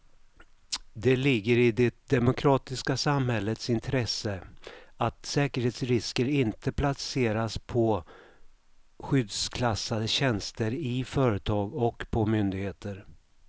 Det ligger i det demokratiska samhällets intresse att säkerhetsrisker inte placeras på skyddsklassade tjänster i företag och på myndigheter.